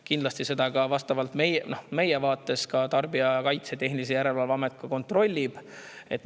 Kindlasti kontrollib seda meil ka Tarbijakaitse ja Tehnilise Järelevalve Amet.